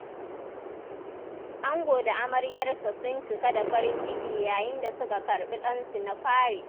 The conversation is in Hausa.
Ango da amaryarsa sun cika da farin ciki yayin da suka karɓi ɗansu na fari.